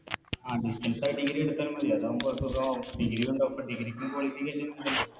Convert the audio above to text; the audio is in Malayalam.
ആ Distance ആയി Degree എടുത്താൽ മതി അതാവുമ്പോ സുഖവും Degree ഉണ്ടാവും പ്പോ Degree ക്കും Qualification